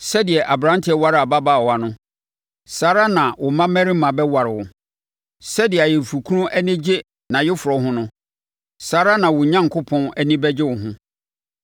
Sɛdeɛ aberanteɛ ware ababaawa no, saa ara na wo mmammarima bɛware wo; sɛdeɛ ayeforɔkunu ani gye nʼayeforɔ ho no, saa ara na wo Onyankopɔn ani bɛgye wo ho.